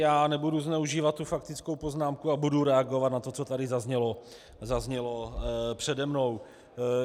Já nebudu zneužívat tu faktickou poznámku a budu reagovat na to, co tady zaznělo přede mnou.